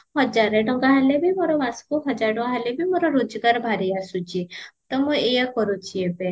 ହଜାରେ ଟଙ୍କା ହେଲେ ବି ମୋର ମାସକୁ ହଜାରେ ଟଙ୍କା ହେଲେ ବି ମୋର ରୋଜଗାର ବାହାରି ଆସୁଚି ତ ମୁଁ ଏଇଆ କରୁଚି ଏବେ